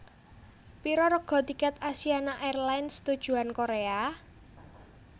Piro rega tiket Asiana Airlines tujuan Korea?